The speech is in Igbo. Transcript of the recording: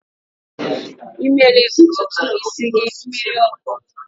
Ị mere ntutu isi gị mmiri ọkụ?